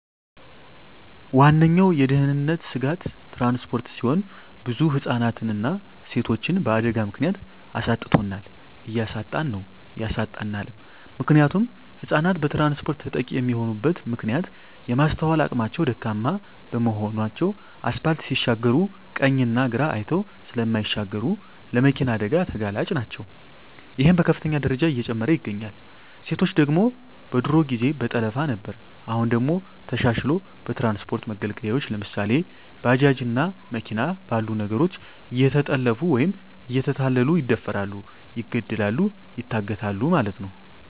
ዋነኛዉ የድህንነት ስጋት ትራንስፖርት ሲሆን ብዙ ህፃናትንና ሴቶችን በአደጋ ምክንያት አሳጥቶናል እያሳጣን ነዉ ያሳጣናልም። ምክንያቱም ህፃናት በትራንስፖርት ተጠቂ የሚሆኑበት ምክንያት የማስትዋል አቅማቸዉ ደካማ በመሆናቸዉ አስፓልት ሲሻገሩ ቀኝና ግራ አይተዉ ስለማይሻገሩ ለመኪና አደጋ ተጋላጭ ናቸዉ ይሄም በከፍተኛ ደረጃ እየጨመረ ይገኛል። ሴቶች ደግሞ በድሮ ጊዜ በጠለፋ ነበር አሁን ደግሞ ተሻሽልሎ በትራንስፖርት መገልገያወች ለምሳሌ፦ ባጃጅ እና መኪና ባሉ ነገሮች እየተጠለፊፉ ወይም እየተታለሉ ይደፈራሉ ይገደላሉ ይታገታሉ ማለት ነዉ።